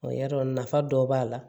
y'a dɔn nafa dɔ b'a la